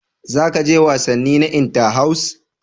Za ka je wasanni na Inter-house?